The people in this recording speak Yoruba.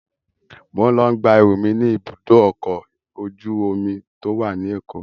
Mo ń lọ gba ẹrú mi ni ibùdókọ̀ ọkọ̀ ojú omi to wá ní Èkó